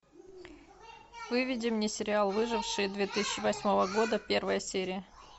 выведи мне сериал выжившие две тысячи восьмого года первая серия